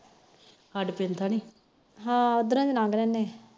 ਹਾ ਉਧਰੋ ਲੰਘਦੇ ਹੁੰਦੇ